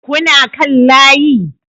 Kuna kan layi